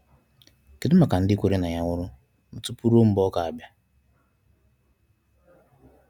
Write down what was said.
Kedụ maka ndi kwere na Ya nwụrụ nụ tupu rue mgbe ọ ga bia?